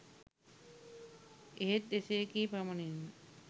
එහෙත් එසේ කී පමණින්ම